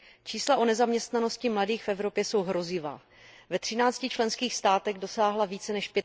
Čísla o nezaměstnanosti mladých v Evropě jsou hrozivá. Ve třinácti členských státech dosáhla více než